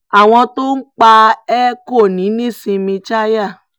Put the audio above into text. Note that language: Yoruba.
àwọn tó pa ẹ́ kò ní í nísinmi chalya